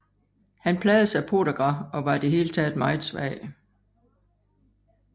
Han plagedes af podagra og var i det hele meget svag